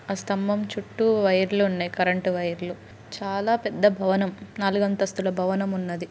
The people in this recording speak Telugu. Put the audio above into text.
ఆ స్తంభం చుట్టూ వైర్లు ఉన్నాయి. కరెంట్ వైర్లు చాలా పెద్ద భవనం నాలుగు అంతస్తుల భవనం ఉన్నది.